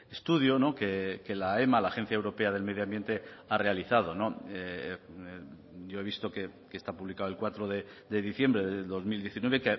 estudio no que la aema la agencia europea del medio ambiente ha realizado no yo he visto que está publicado el cuatro de diciembre de dos mil diecinueve